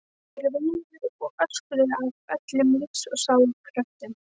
Þær veinuðu og öskruðu af öllum lífs og sálar kröftum.